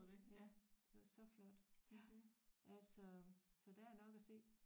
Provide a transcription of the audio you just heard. Ja det var så flot altså så der er nok at se